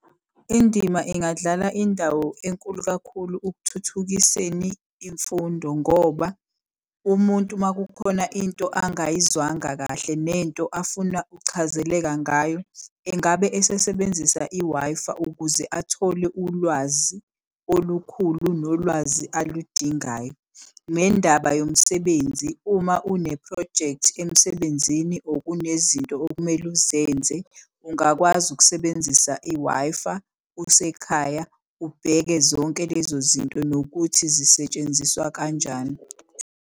Indima ingadlala indawo enkulu kakhulu ukuthuthukiseni imfundo, ngoba umuntu uma kukhona into angayizwanga kahle, nento afuna ukuchazeleka ngayo engabe esesebenzisa i-Wi-Fi ukuze athole ulwazi olukhulu nolwazi aludingayo, nendaba yomsebenzi. Uma unephrojekthi emsebenzini or kunezinto okumele uzenze ungakwazi ukusebenzisa i-Wi-Fi, usekhaya ubheke zonke lezo zinto, nokuthi zisetshenziswa kanjani.